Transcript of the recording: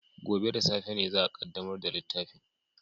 Gobe ​​da safe ne za a kaddamar da littafin